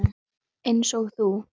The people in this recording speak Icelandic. Eins og þú.